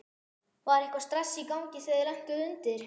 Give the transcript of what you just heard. Var eitthvað stress í gangi þegar þið lentuð undir?